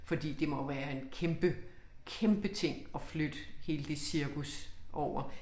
Fordi det må jo være en kæmpe kæmpe ting at flytte hele det cirkus over